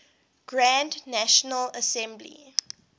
grand national assembly